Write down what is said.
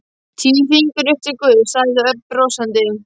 Tíu fingur upp til Guðs, sagði Örn brosandi.